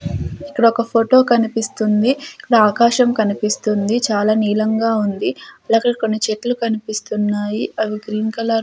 ఇక్కడ ఒక ఫోటో కనిపిస్తుంది ఇకడ ఆకాశం కనిపిస్తుంది చాలా నీలంగా ఉంది అలాగే కొన్ని చెట్లు కనిపిస్తున్నాయి అవి గ్రీన్ కలర్ --